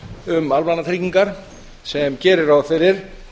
um almannatryggingar sem gerir ráð fyrir